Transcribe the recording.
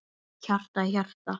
Hjarta í hjarta.